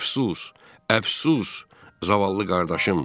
Əfsus, əfsus zavallı qardaşım!